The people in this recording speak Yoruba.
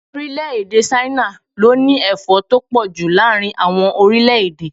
Orílè-èdè Ṣáínà ló ní Ẹ̀fọ́ tó pọ̀ ju láàárín àwọn orílẹ̀-èdè.